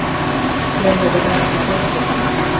Hver verður best í deildinni?